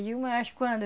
quando?